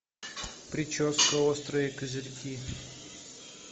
прическа острые козырьки